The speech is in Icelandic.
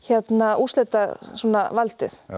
úrslitavaldið